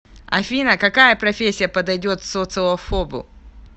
афина какая профессия подойдет социофобу